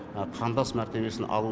қандас мәртебесін алу